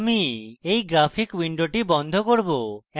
আমি এই graphic window বন্ধ করব